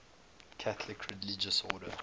catholic religious order